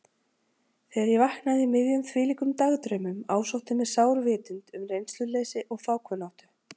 Þegar ég vaknaði í miðjum þvílíkum dagdraumum ásótti mig sár vitund um reynsluleysi og fákunnáttu.